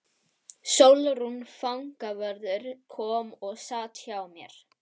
Sólrún fangavörður kom og sat hjá mér.